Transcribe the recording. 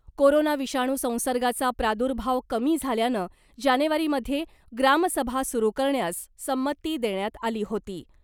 Corona विषाणू संसर्गाचा प्रादुर्भाव कमी झाल्यानं जानेवारीमध्ये ग्रामसभा सुरु करण्यास संमती देण्यात आली होती .